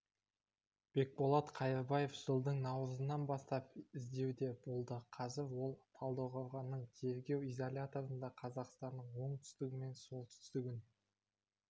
бекболат қайырбаев жылдың наурызынан бастап іздеуде болды қазір ол талдықорғанның теергеу изоляторында қазақстанның оңтүстігі мен солтүстігін